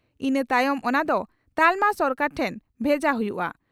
ᱤᱱᱟᱹ ᱛᱟᱭᱚᱢ ᱚᱱᱟ ᱫᱚ ᱛᱟᱞᱢᱟ ᱥᱚᱨᱠᱟᱨ ᱴᱷᱮᱱ ᱵᱷᱮᱡᱟ ᱦᱩᱭᱩᱜᱼᱟ ᱾